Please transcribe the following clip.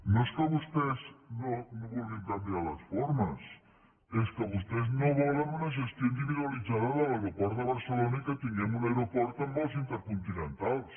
no és que vostès no vulguin canviar les formes és que vostès no volen una gestió individualitzada de l’aeroport de barcelona i que tinguem un aeroport amb vols intercontinentals